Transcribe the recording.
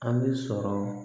An bɛ sɔrɔ